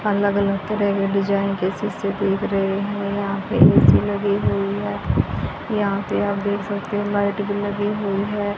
अलग-अलग तरह के डिजाइन जैसे देख रहे हैं। यहां पे ए_सी लगी हुई है। यहां से आप देख सकते हो लाइट भी लगी हुई है।